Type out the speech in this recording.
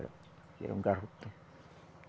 Era um garrotão.